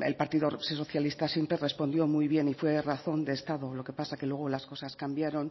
el partido socialista siempre respondió muy bien y fue razón de estado lo que pasa que luego las cosas cambiaron